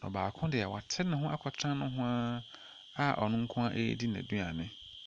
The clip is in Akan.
Na baako deɛ wate ne ho akɔtena nohoaa a ɔno nkoaa edi n'aduane.